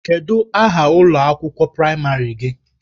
Kedụ aha ụlọ akwụkwọ praịmarị gị?